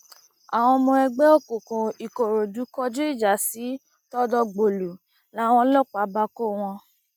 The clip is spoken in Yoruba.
àwọn ọmọ ẹgbẹ òkùnkùn ìkòròdú kọjú ìjà sí tọdọgbòlù làwọn ọlọpàá bá kọ wọn